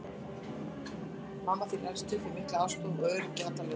Mamma þín elst upp við mikla ástúð og öryggi á alla lund.